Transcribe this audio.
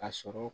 A sɔrɔ